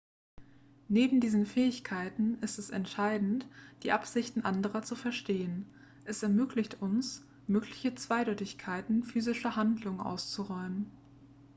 neben diesen fähigkeiten ist es entscheidend die absichten anderer zu verstehen es ermöglicht uns mögliche zweideutigkeiten physischer handlungen auszuräumen